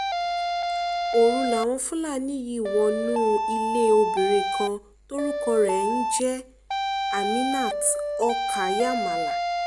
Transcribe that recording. òru làwọn fúlàní yìí wọnú ilé obìnrin kan tórúkọ ẹ̀ ń jẹ́ aminat okayamala